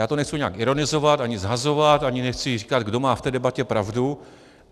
Já to nechci nijak ironizovat, ani shazovat, ani nechci říkat, kdo má v té debatě pravdu.